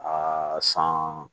Aa san